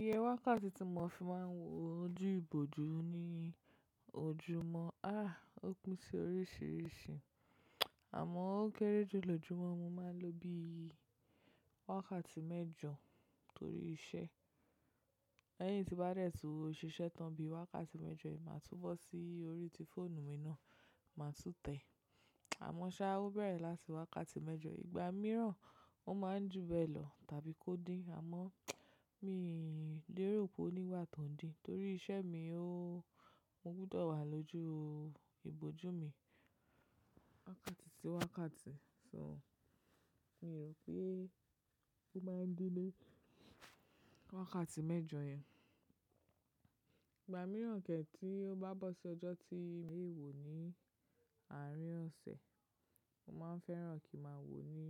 Iye wákàtí tí mo fi máà ń wo ojú ìbòjú ní ojúmọ́, aà ó pin si oríṣìíríṣìí. Àmọ́ ó kéré jù lòjùmó máa ń lọ bí i wákàtí mẹ́jọ torí iṣẹ́. Lẹ́yìn tí bá de tun síṣẹ́ tán bí i wákàtí mẹ́jọ ẹ̀ máa tú bọ́ sí orí ti fóònù mi náà, máa tún tẹ̀. Àmọ́ sáà ó bẹ̀rẹ̀ láti wákàtí mẹ́jọ, ìgbà mìíràn ó ma ń júbẹ́lọ̀ tàbí kó dí àmọ́ mi lè rò pé ó nígba tó ń dí torí iṣẹ́ mi ó mó gbodọ̀ wà lójú ìbòjú mi wákàtí sí wákàtí, so mi rò pé ó ma ń dí lé wákàtí mẹ́jọ yẹn. Ìgbà mìíràn kẹ̀ tí ó bá bọ́ sí ọjọ́ tí mẹ̀wò ni àárín ọ̀sẹ̀, mo ma ń fẹ́ràn kí a máa wò ó ní